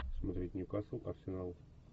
смотреть ньюкасл арсенал